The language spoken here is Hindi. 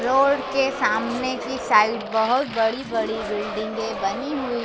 रोड के सामने की साइड बहोत बड़ी बड़ी बिल्डिंग के बनी हुई--